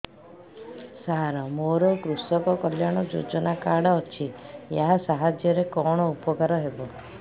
ସାର ମୋର କୃଷକ କଲ୍ୟାଣ ଯୋଜନା କାର୍ଡ ଅଛି ୟା ସାହାଯ୍ୟ ରେ କଣ ଉପକାର ହେବ